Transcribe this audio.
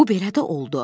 Bu belə də oldu.